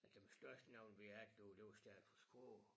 Altså dem største navne vi havde derude det var stavet på skrå